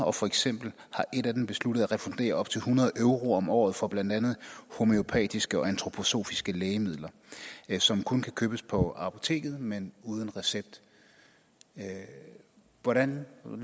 og for eksempel har et af dem besluttet at refundere op til hundrede euro om året for blandt andet homøopatiske og antroposofiske lægemidler som kun kan købes på apoteket men uden recept hvordan